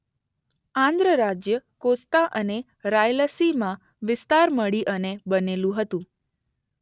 આંધ્ર રાજ્ય કોસ્તા અને રાયલસીમા વિસ્તાર મળી અને બનેલું હતું.